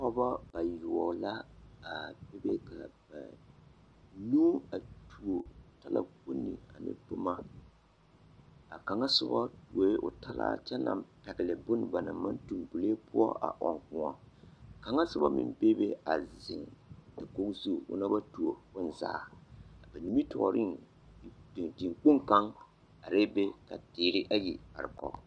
Pɔgebɔ bayoɔbo la a bebe ka banuu a tuo talakponni ane boma, a kaŋa soba tuo talaa kyɛ naŋ pɛgele bone banaŋ maŋ toŋ bulee poɔ a ɔŋ kõɔ, kaŋa soba meŋ bebe a zeŋ dakogi zu, ona ba tuo bonzaa, a nimitɔɔreŋ dikpoŋ kaŋa arɛɛ be ka teere ayi are kɔge.